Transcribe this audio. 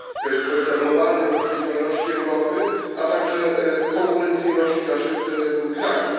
To jest kwestia globalnej odpowiedzialności Europy, a także konkurencyjności naszych krajów.